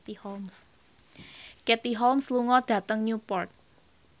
Katie Holmes lunga dhateng Newport